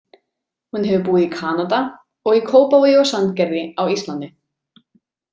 Hún hefur búið í Kanada og í Kópavogi og Sandgerði á Íslandi.